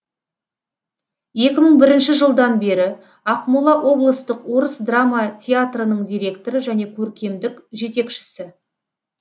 екі мың бірінші жылдан бері ақмола облыстық орыс драма театрының директоры және көркемдік жетекшісі